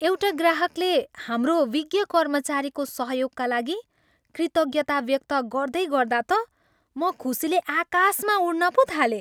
एउटा ग्राहकले हाम्रो विज्ञ कर्मचारीको सहयोगका लागि कृतज्ञता व्यक्त गर्दैगर्दा त म खुसीले आकाशमा उड्न पो थालेँ।